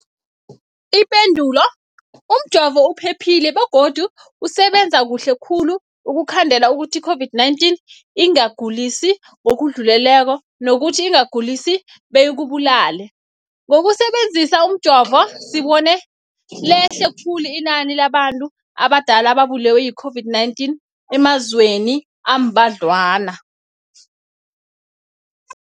Ipendulo, umjovo uphephile begodu usebenza kuhle khulu ukukhandela ukuthi i-COVID-19 ingakugulisi ngokudluleleko, nokuthi ingakugulisi beyikubulale. Ngokusebe nzisa umjovo, sibone lehle khulu inani labantu abadala ababulewe yi-COVID-19 emazweni ambadlwana.